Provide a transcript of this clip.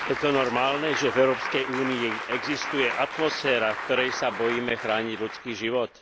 Je to normálne, že v Európskej únii existuje atmosféra, v ktorej sa bojíme chrániť ľudský život?